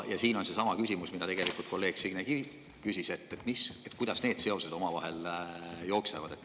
Ja siin on seesama küsimus, mida kolleeg Signe Kivi juba küsis, nimelt, kuidas need seosed omavahel jooksevad.